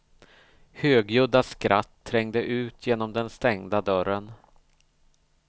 Högljudda skratt trängde ut genom den stängda dörren.